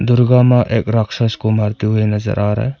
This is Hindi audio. दुर्गा मां एक राक्षस को मारते हुए नजर आ रहा है।